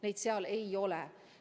Neid ei ole.